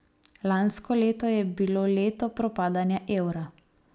Lansko leto je bilo leto propadanja evra.